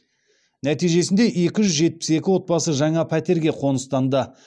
нәтижесінде екі жүз жетпіс екі отбасы жаңа пәтерге қоныстанды